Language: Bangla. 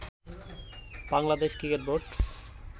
Bangladesh cricket board